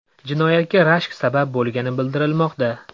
Jinoyatga rashk sabab bo‘lgani bildirilmoqda.